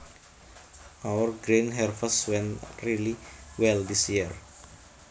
Our grain harvest went really well this year